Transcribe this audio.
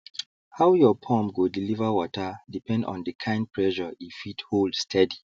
how your pump go deliver water depend on the kind pressure e fit hold steady